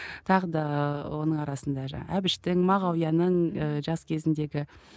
тағы да оның арасында жаңағы әбіштің мағауияның ііі жас кезіндегі